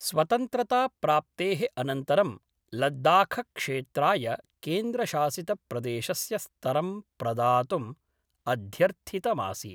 स्वतंत्रताप्राप्ते: अनन्तरं लद्दाखक्षेत्राय केन्द्रशासित प्रदेशस्य स्तरं प्रदातुं अध्यर्थितमासीत्।